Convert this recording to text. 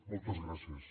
moltes gràcies